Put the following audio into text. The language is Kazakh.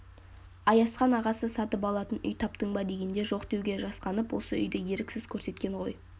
аязхан ағасы сатып алатын үй таптың ба дегенде жоқ деуге жасқанып осы үйді еріксіз көрсеткен ғой